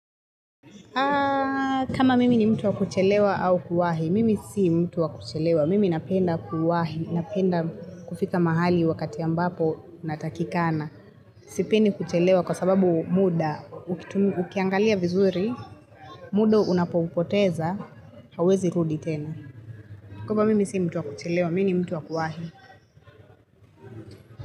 Kama mimi ni mtu wa kuchelewa au kuwahi, mimi si mtu wa kuchelewa. Mimi napenda kuwahi, napenda kufika mahali wakati ambapo natakikana. Sipendi kuchelewa kwa sababu muda, ukiangalia vizuri, muda unapoupoteza, hauwezi rudi tena. Kwa hivo mimi si mtu wa kuchelewa, mimi ni mtu wa kuwahi.